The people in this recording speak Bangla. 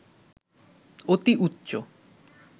অতি উচ্চ